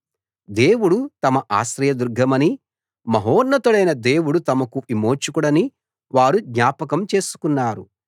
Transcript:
దేవుడు తమ ఆశ్రయదుర్గమనీ మహోన్నతుడైన దేవుడు తమకు విమోచకుడనీ వారు జ్ఞాపకం చేసుకున్నారు